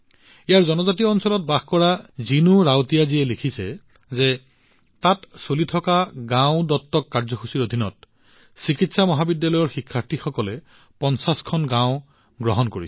ইয়াত জনজাতীয় অঞ্চলত বাস কৰা জিনু ৰাৱতিয়াজীয়ে লিখিছে যে তাত চলি থকা গাওঁ দত্তক কাৰ্যসূচীৰ অধীনত চিকিৎসা মহাবিদ্যালয়ৰ শিক্ষাৰ্থীসকলে ৫০ খন গাওঁ গ্ৰহণ কৰিছে